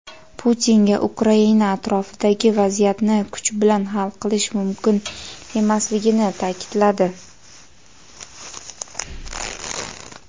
Putinga Ukraina atrofidagi vaziyatni kuch bilan hal qilish mumkin emasligini ta’kidladi.